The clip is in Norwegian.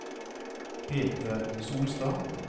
Peter Solstad